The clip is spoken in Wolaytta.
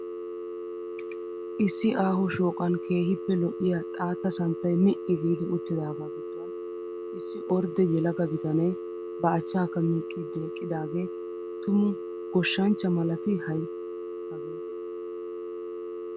Issi aaho shooqan keehiippe lo'iya xaatta santtay mi'i giidi uttidaaga giduwan issi ordde yelaga bitanee ba achchaakka miiqqiid eqidaagee tumu goshshanchcha malatii hay hagee!